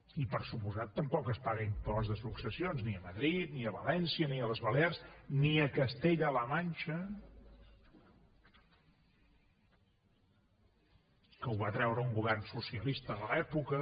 i per descomptat tampoc es paga impost de successions ni a madrid ni a valència ni a les balears ni a castella la manxa que ho va treure un govern socialista de l’època